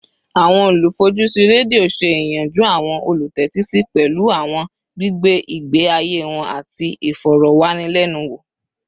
Awọn olufojusi redio ṣe iyanju awọn olutẹtisi pẹlu awọn gbigbe igbe aye wọn ati awọn ifọrọwanilẹnuwo